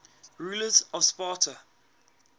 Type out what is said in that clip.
rulers of sparta